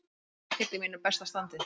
Ég er ekkert í mínu besta standi.